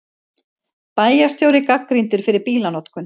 Bæjarstjóri gagnrýndur fyrir bílanotkun